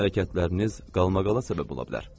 Sizin hərəkətləriniz qalmaqala səbəb ola bilər.